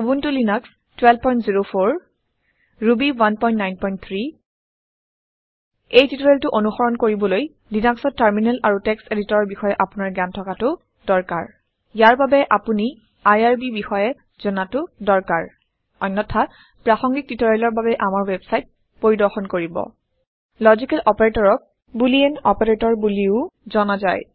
Ubuntu Linux 1204 Ruby 193 এই টিওটৰিয়েলটো অনুসৰণ কৰিবলৈ লিনাক্সত টাৰমিনেল আৰু টেক্সট এদিটৰ ৰ বিষয় আপুনাৰ জ্ঞান থকাটো দৰকাৰ । ইয়াৰ বাবে আপোনি আইআৰবি বিষয় জনাটো দৰকাৰ অন্যথা প্ৰাসংগিক টিওটৰিয়েলৰ বাবে আমাৰ ৱেবছাইট পৰিৰ্দশন কৰিব । লাজিকেল অপাৰেটৰক বুলিন অপাৰেটৰ বোলিও জনা যায়